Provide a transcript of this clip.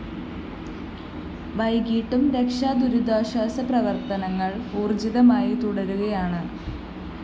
വൈകിട്ടും രക്ഷാ ദുരിതാശ്വാസ പ്രവര്‍ത്തനങ്ങള്‍ ഊര്‍ജിതമായി തുടരുകയാണ്